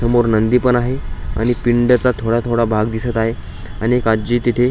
ओम वर नंदी पण आहे आणि पिंड चा थोडा थोडा भाग दिसत आहे आणि एक आजी तिथे --